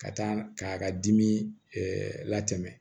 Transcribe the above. Ka taa k'a ka dimi latɛmɛ